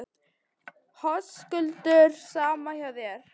Höskuldur: Sama hjá þér?